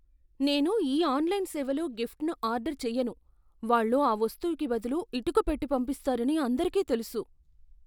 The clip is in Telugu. నేను ఈ ఆన్లైన్ సేవలో గిఫ్ట్ను ఆర్డర్ చెయ్యను, వాళ్ళు ఆ వస్తువుకి బదులు ఇటుక పెట్టి పంపిస్తారని అందరికీ తెలుసు.